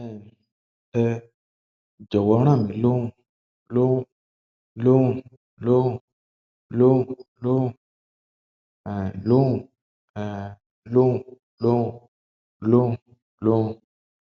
ẹn ẹ um jọwọn ràn mí lọn lọn lọn lọn lọn lọn um lọn um lọn lọn lọn lọn